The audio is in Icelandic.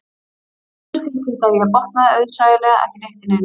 Jóhannes tilkynnti að ég botnaði auðsæilega ekki neitt í neinu